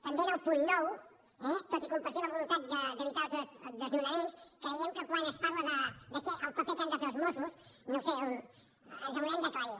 també en el punt nou eh tot i compartir la voluntat d’evitar els desnonaments creiem que quan es parla del paper que han de fer els mossos no ho sé ens haurem d’aclarir